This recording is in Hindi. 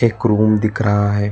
एक रूम दिख रहा है।